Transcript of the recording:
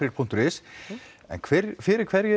punktur is en fyrir hverju